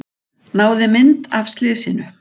Náði mynd af slysinu